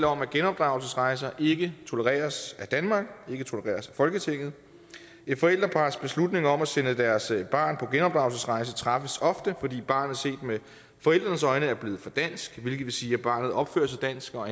om at genopdragelsesrejser ikke tolereres af danmark ikke tolereres af folketinget et forældrepars beslutning om at sende deres barn på genopdragelsesrejse træffes ofte fordi barnet set med forældrenes øjne er blevet for dansk hvilket vil sige at barnet opfører sig dansk og